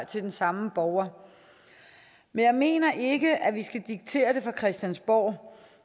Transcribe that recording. til den samme borger men jeg mener ikke at vi skal diktere det her fra christiansborg